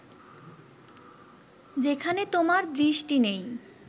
যেখানে তোমার দৃষ্টি নেই